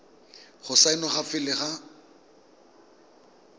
go saenwa fa pele ga